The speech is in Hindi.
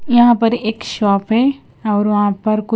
यहां पर एक शॉप है और वहां पर कु--